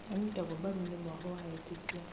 nĩanyitagwo mbaru nĩ mwahũ wa etĩkia